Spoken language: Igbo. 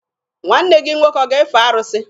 Nwanne gị nwoke ọ ga-efe arụsị?